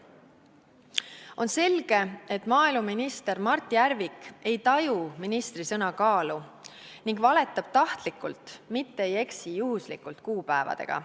On selge, et maaeluminister Mart Järvik ei taju ministri sõna kaalu ning valetab tahtlikult, mitte ei eksi juhuslikult kuupäevadega.